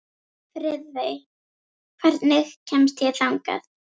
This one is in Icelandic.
Friðey, hvernig kemst ég þangað?